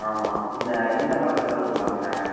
ஆமா இந்த படத்துல வருவான்ல